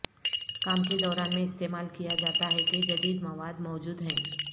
کام کے دوران میں استعمال کیا جاتا ہے کہ جدید مواد موجود ہیں